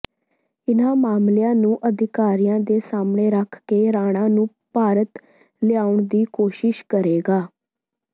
ਇਨ੍ਹਾਂ ਮਾਮਲਿਆਂ ਨੂੰ ਅਧਿਕਾਰੀਆਂ ਦੇ ਸਾਹਮਣੇ ਰੱਖ ਕੇ ਰਾਣਾ ਨੂੰ ਭਾਰਤ ਲਿਆਉਣ ਦੀ ਕੋਸ਼ਿਸ਼ ਕਰੇਗਾ